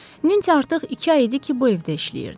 Nensi artıq iki ay idi ki, bu evdə işləyirdi.